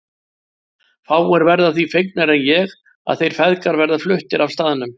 Fáir verða því fegnari en ég ef þeir feðgar verða fluttir af staðnum.